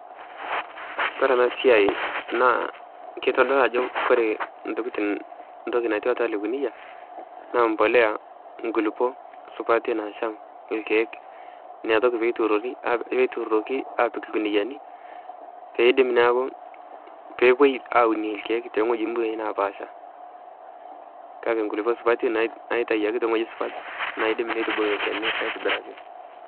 Kadamu oleng enkata naatasa ena siai ashuu kaas oshiake toonkatitin ore tolari naa kaas aigil are. Ore pee kindip aitayu intokitin temukunta ashuu aatekes imukuntani naa lasima peyie eitokini airem. Naa pookin naake itumoki anyaaki atipika endaa naa lasima naa peeirem nipik oltarakita nimbelekeny enkulupuoni pee itumoki anyaaki atipika anyaaki atuunisho tenebau enkata enchan. Niaku kaas oleng toorishat kumok oleng ore tolari and igil are